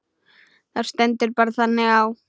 Það stendur bara þannig á.